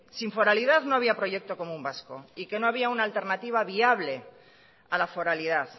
sin foralidad no había proyecto común vasco y que no había una alternativa viable a la foralidad